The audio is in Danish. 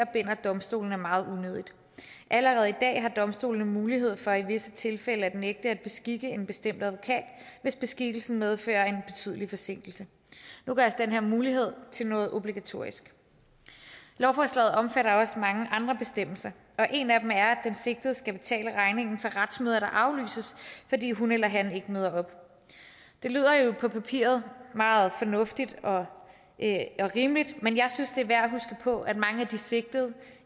binder domstolene meget allerede i dag har domstolene mulighed for i visse tilfælde at nægte at beskikke en bestemt advokat hvis beskikkelsen medfører en betydelig forsinkelse nu gøres den her mulighed til noget obligatorisk lovforslaget omfatter også mange andre bestemmelser og en af dem er den sigtede skal betale regningen for retsmøder der aflyses fordi hun eller han ikke møder op det lyder jo på papiret meget fornuftigt og rimeligt men jeg synes det er værd at huske på at mange af de sigtede